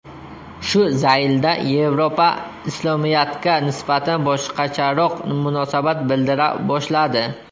Shu zaylda Yevropa Islomiyatga nisbatan boshqacharoq munosabat bildira boshladi.